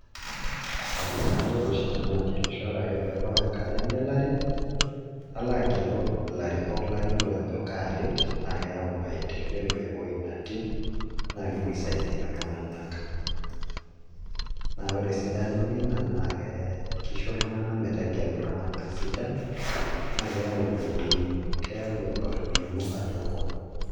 Kalo taa oshi nanu agelisho ore ake pee ebau enkata engelare nalo agelu ilarriko layiolo ajo kaaret naa keyau maendeleo ewuei natii naa kepuo aisaidia iltung'anak naa ore esidanu ina naa kisho iltung'anak metegelu iltung'anak sidan naa keyau dooi , keyau olning'o atua enkop.